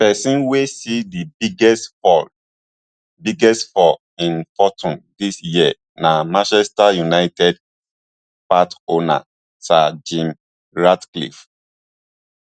pesin wey see di biggest fall biggest fall in fortune dis yearna manchester united partowner sir jim ratcliffe